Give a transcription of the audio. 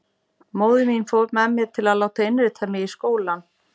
Móðir mín fór með mér til að láta innrita mig í skólann.